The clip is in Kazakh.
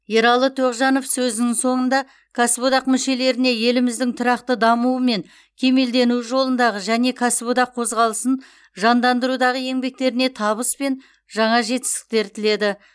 ералы тоғжанов сөзінің соңында кәсіподақ мүшелеріне еліміздің тұрақты дамуы мен кемелденуі жолындағы және кәсіподақ қозғалысын жандандырудағы еңбектеріне табыс пен жаңа жетістіктер тіледі